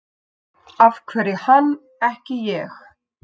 Af hverju hann, ekki ég?